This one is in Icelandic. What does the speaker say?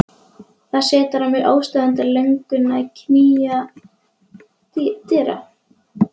Það setur að mér óstöðvandi löngun að knýja dyra.